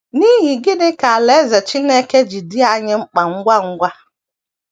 N’ihi gịnị ka Alaeze Chineke ji dị anyị mkpa ngwa ngwa?